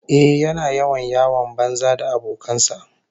Ehh, yana yawan yawon banza da abokan sa